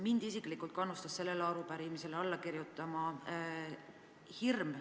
Mind isiklikult kannustas sellele arupärimisele alla kirjutama hirm.